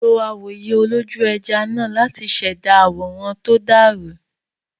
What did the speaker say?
Lo awòye olójú-ẹja náà láti ṣẹ̀dá àwòrán tó dàrú.